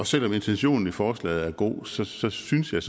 selv om intentionen i forslaget er god så så synes jeg